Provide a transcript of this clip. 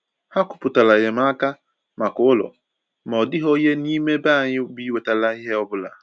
Ha kwùpụtara enyemaka maka ụlọ, ma ọ dịghị onye n’ime ebe anyị bi nwetàrà ihe ọbụla.